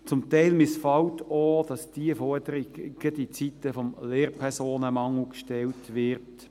Zum Teil missfällt auch, dass diese Forderung gerade in Zeiten des Lehrpersonenmangels gestellt wird.